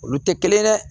Olu tɛ kelen ye dɛ